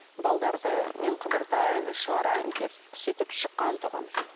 мен қыдыртайын шығарайын деп сөйтіп шыққан тұғын